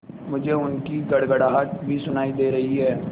मुझे उनकी गड़गड़ाहट भी सुनाई दे रही है